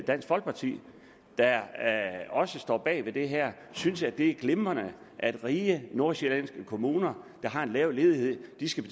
dansk folkeparti der også står bag det her synes at det er glimrende at rige nordsjællandske kommuner der har en lav ledighed skal